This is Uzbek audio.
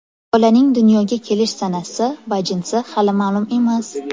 Bolaning dunyoga kelish sanasi va jinsi hali ma’lum emas.